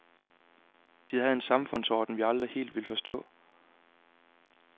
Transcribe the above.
De havde en samfundsorden, vi aldrig helt vil forstå.